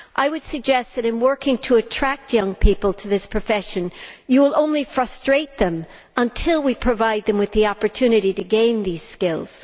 I would suggest that, in working to attract young people to this profession, you will only frustrate them until we provide them with the opportunity to gain these skills.